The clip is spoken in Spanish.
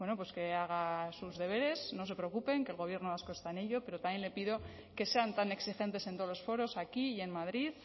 que haga sus deberes no se preocupen que el gobierno vasco está en ello pero también le pido que sean tan exigentes en todos los foros aquí y en madrid